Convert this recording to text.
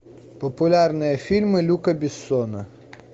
популярные фильмы люка бессона